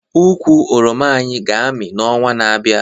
Ukwu oroma anyị ga-amị n'ọnwa na-abịa